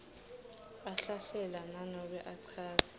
ahlahlela nanobe achaza